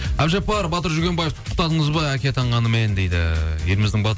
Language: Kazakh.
әбдіжаппар батыр жүргенбаевты құттықтадыңыз ба әке атанғанымен дейді еліміздің